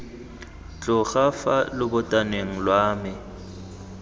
tloga fa lobotaneng lwa me